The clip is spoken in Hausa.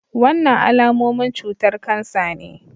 Wannan alamomin cutar kansa ne.